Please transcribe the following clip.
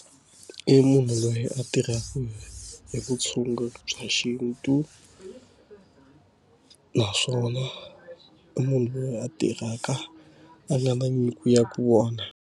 I munhu loyi a tirhaka hi vutshunguri bya xintu naswona i munhu loyi a tirhaka a nga na nyiko ya ka vona.